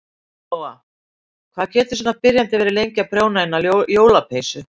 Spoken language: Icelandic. Lóa: Hvað getur svona byrjandi verið lengi að prjóna eina jólapeysu?